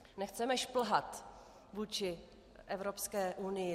Nechceme šplhat vůči Evropské unii.